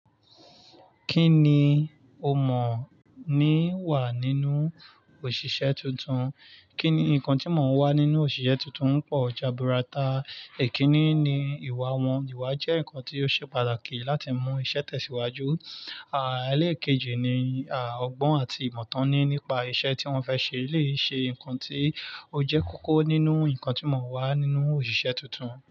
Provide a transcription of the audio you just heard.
Kí ni o mọ̀ ní wà nínú òṣìṣẹ́ tuntun? Kí ni nǹkan tí mo n wá nínú òṣìṣẹ́ tuntun pọ̀ jaburata. Ikínní ni ìwà wọn. Ìwà jẹ́ nǹkan tí ó ṣe pàtàkì láti mú iṣẹ́ tẹ̀síwájú. Àà, ẹlẹ́ẹ̀kejì ni, a, ọgbọ́n àti ìmọ̀ tán ní nípa iṣẹ́ tí wọ́n fẹ́ ṣe, eleyi ṣe nǹkan tí ó jẹ́ kókó nínú nǹkan tí mo n wá nínú òṣìṣẹ́ tuntun.